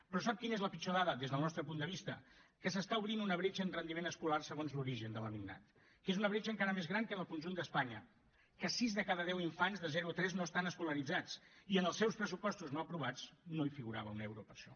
però sap quina és la pitjor dada des del nostre punt de vista que s’està obrint una bretxa en rendiment escolar segons l’origen de l’alumnat que és una bretxa encara més gran que en el conjunt d’espanya que sis de cada deu infants de zero a tres no estan escolaritzats i en els seus pressupostos no aprovats no hi figurava un euro per a això